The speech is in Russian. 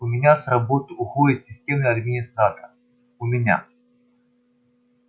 у меня с работы уходит системный администратор у меня